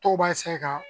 To b'a ka